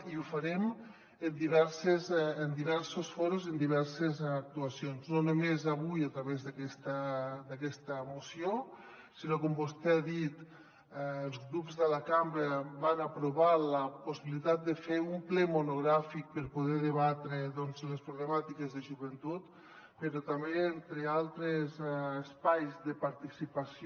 i ho farem en diversos fòrums i amb diverses actuacions no només avui a través d’aquesta moció sinó que com vostè ha dit els grups de la cambra van aprovar la possibilitat de fer un ple monogràfic per poder debatre les problemàtiques de joventut però també en altres espais de participació